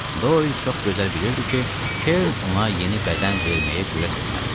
Doyl çox gözəl bilirdi ki, Kern ona yeni bədən verməyə cürət etməz.